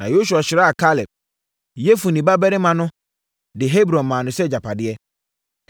Na Yosua hyiraa Kaleb, Yefune babarima no de Hebron maa no sɛ agyapadeɛ.